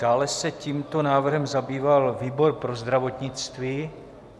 Dále se tímto návrhem zabýval výbor pro zdravotnictví.